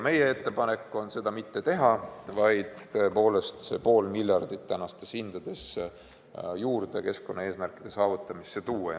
Meie ettepanek on seda mitte teha, vaid panna ka see ülejäänud pool miljardit tänastes hindades keskkonnaeesmärkide saavutamisse.